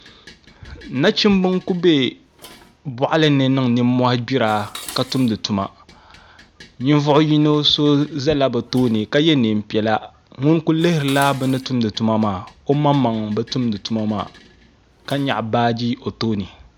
Nachimbi n ku bɛ boɣali ni niŋ nimmohi gbira ka tumdi tuma ninvuɣu yino so ʒɛla bi tooni ka yɛ neen piɛla ŋun ku lihirila bini tumdi tuma maa o maŋmaŋ bi tumdi tuma maa ka nyaɣa baaji o tooni